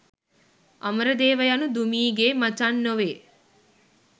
අමරදේව යනු දුමී ගේ මචං නොවේ